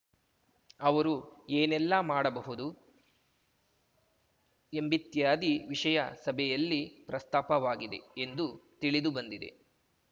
ಅವರು ಏನೆಲ್ಲ ಮಾಡಬಹುದು ಎಂಬಿತ್ಯಾದಿ ವಿಷಯ ಸಭೆಯಲ್ಲಿ ಪ್ರಸ್ತಾಪವಾಗಿದೆ ಎಂದು ತಿಳಿದು ಬಂದಿದೆ